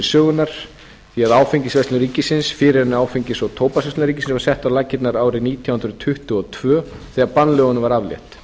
sögunnar því að áfengisverslun ríkisins fyrr en áfengis og tóbaksverslun ríkisins var sett á laggirnar árið nítján hundruð tuttugu og tvö þegar bannlögunum var aflétt